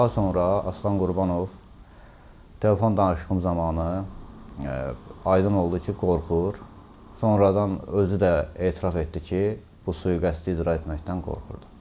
Daha sonra Aslan Qurbanov telefon danışığım zamanı aydın oldu ki, qorxur, sonradan özü də etiraf etdi ki, bu sui-qəsdi icra etməkdən qorxurdu.